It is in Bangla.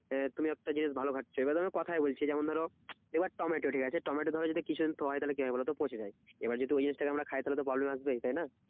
আহ তুমি একটা জিনিস ভালো খাচ্ছো। এবার আমি কথায় বলছি যেমন ধরো, এবার টমেটো ঠিকাছে টমেটো ধরো কিছু একটু হয় তাহলে কি হয় বলতো পচে যায়। এবার যদি ওই জিনিসটাকে আমরা খাই তাহলে তো problem আসবেই তাইনা